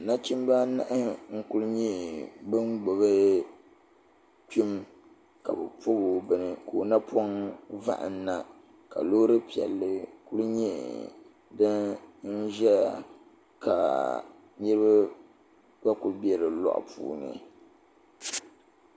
Nachim anahi n kku nyɛ ban gbibi pini kabi bɛni ka ɔ napɔn vohin na, kalɔɔri piɛli nyɛ din ʒaya ka niribi nyɛ ban be di lɔɣu puuni.